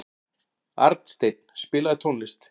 Arnsteinn, spilaðu tónlist.